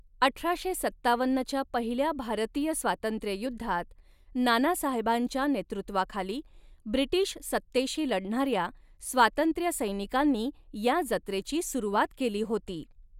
अठराशे सत्तावन्नच्या पहिल्या भारतीय स्वातंत्र्ययुद्धात नाना साहेबांच्या नेतृत्वाखाली ब्रिटीश सत्तेशी लढणाऱ्या स्वातंत्र्यसैनिकांनी या जत्रेची सुरुवात केली होती.